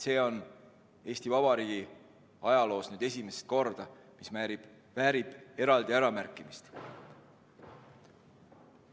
See on Eesti Vabariigi ajaloos nüüd esimest korda, mis väärib eraldi äramärkimist.